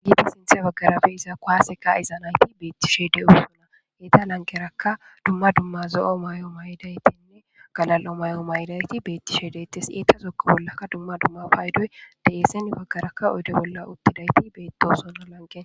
giidi sinthe baggarafe iza koaaseka izanayti beettishe deyo sona eeta lankeraka dumma dumma zo7o may7o may7idaytinne galal7o may7o mayidayti beettishe deytes eetazokko bollaka dumma dumma paydoy de eese baggarakka oyde bolla uttidayti beetto sola lanqea